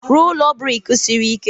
Rụọ ụlọ brik siri ike.